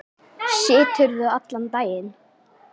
Siturðu allan daginn?